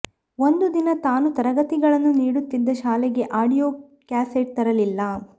ಒಂದು ದಿನ ತಾನು ತರಗತಿಗಳನ್ನು ನೀಡುತ್ತಿದ್ದ ಶಾಲೆಗೆ ಆಡಿಯೊ ಕ್ಯಾಸೆಟ್ ತರಲಿಲ್ಲ